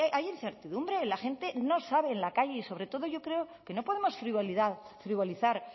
hay incertidumbre la gente no sabe en la calle y sobre todo yo creo que no podemos frivolizar